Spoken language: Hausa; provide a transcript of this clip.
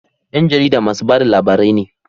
Yan jarida masu bada labarai ne